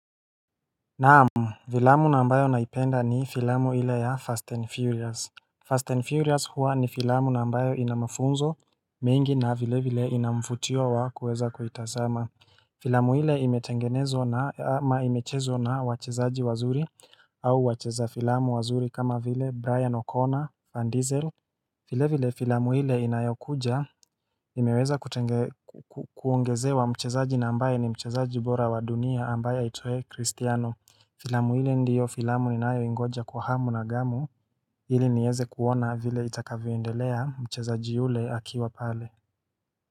Naam, filamu na ambayo naipenda ni filamu ile ya Fast and Furious Fast and Furious huwa ni filamu na ambayo ina mafunzo mingi na vile vile ina mvutio wa kuweza kuitazama filamu ile imetengenezwa na ama imechezwa na wachezaji wazuri au wacheza filamu wazuri kama vile Brian Oconnor Van Diesel vile vile filamu ile inayokuja imeweza kuongezewa mchezaji na ambaye ni mchezaji bora wa dunia ambaye aitwaye Kristiano Filamu hile ndiyo filamu ninayo ingoja kwa hamu na gamu ilinieze kuona vile itakavyo endelea mchezaji yule akiwa pale.